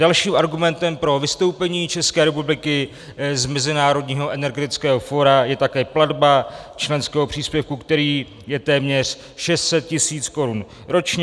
Dalším argumentem pro vystoupení České republiky z Mezinárodního energetického fóra je také platba členského příspěvku, který je téměř 600 tis. korun ročně.